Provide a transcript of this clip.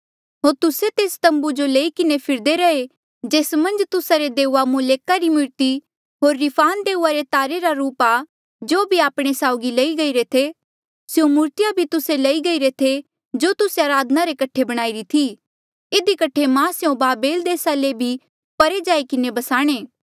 होर तुस्से तेस तम्बू जो लेई किन्हें फिरदे रहे जेस मन्झ तुस्सा रे देऊआ मोलेका री मूर्ति होर रिफान देऊआ रे तारे रा रूप आ जो भी आपणे साउगी लई गईरे थे स्यों मूर्तिया भी तुस्से लई गईरे थे जो तुस्से अराधना रे कठे बणाईरी थी इधी कठे मां स्यों बाबेल देसा ले भी परे जाई किन्हें बसाणे